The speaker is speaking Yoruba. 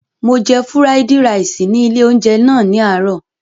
Mo jẹ fúráídí raìsì ní ilé-oúnjẹ náà ní àárọ̀.